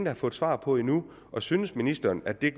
har fået svar på endnu og synes ministeren at det er